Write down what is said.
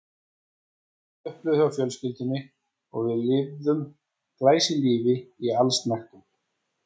Það var allt á uppleið hjá fjölskyldunni og við lifðum glæsilífi í allsnægtum.